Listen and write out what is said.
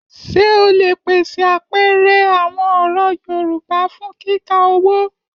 Ṣé o lè pèsè àpẹẹrẹ àwọn ọ̀rọ̀ Yorùbá fún kíkà owó?